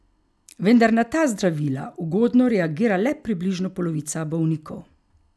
Vendar na ta zdravila ugodno reagira le približno polovica bolnikov.